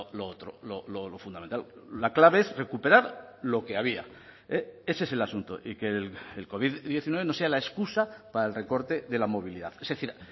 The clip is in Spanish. lo otro lo fundamental la clave es recuperar lo que había ese es el asunto y que el covid diecinueve no sea la excusa para el recorte de la movilidad es decir